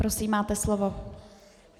Prosím, máte slovo.